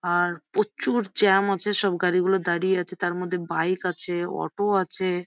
আর প্রচুর জ্যাম আছে সব গাড়ি গুলো দাঁড়িয়ে আছে তার মধ্যে বাইক আছে অটো আছে।